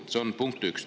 See on punkt üks.